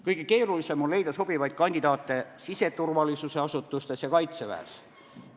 Kõige keerulisem on leida sobivaid kandidaate siseturvalisuse asutustes ja Kaitseväes.